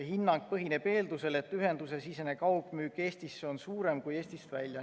Hinnang põhineb eeldusel, et ühendusesisene kaugmüük Eestisse on suurem kui müük Eestist välja.